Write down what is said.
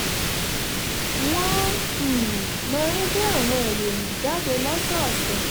wọ́n um máa ń gbé àwọn ìròyìn jáde lọ́sọ̀ọ̀sẹ̀